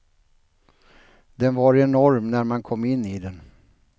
Den var enorm när man kom in i den.